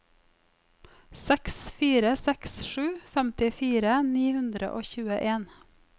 seks fire seks sju femtifire ni hundre og tjueen